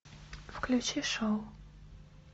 включи шоу